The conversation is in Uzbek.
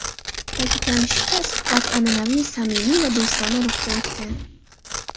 Ta’kidlanishicha, suhbat an’anaviy samimiy va do‘stona ruhda o‘tgan.